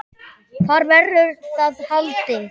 Hvar verður það haldið?